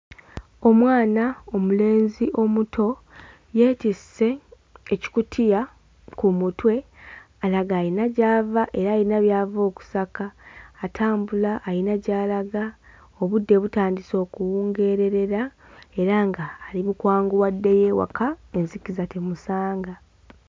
Omwana mulenzi omuto yeetisse ekikutiya ku mutwe alaga ayina gy'ava era ayina by'ava okusaka atambula ayina gy'alaga. Obudde butandise okuwungeererera era ng'ali mu kwanguwa addeyo ewaka enzikiza temusanga.